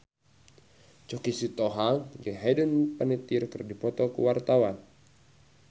Choky Sitohang jeung Hayden Panettiere keur dipoto ku wartawan